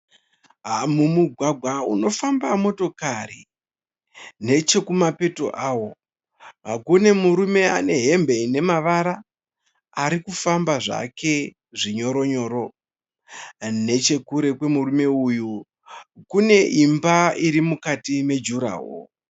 Mumugwagwa unofamba motokari nechekumapeto kwawo kune murume ane hembe ine mavara ari kufamba zvake zvinyoronyoro ,nechekure kwemurume uyu, kune imba iri mukati mejurahoro